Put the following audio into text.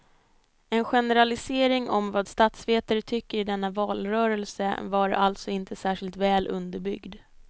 Er generalisering om vad statsvetare tycker i denna valrörelse var alltså inte särskilt väl underbyggd.